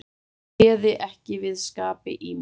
Ég réði ekki við skapi í mér.